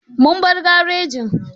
Mun bar garejin.